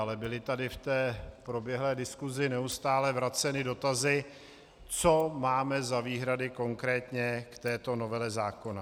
Ale byly tady v té proběhlé diskusi neustále vraceny dotazy, co máme za výhrady konkrétně k této novele zákona.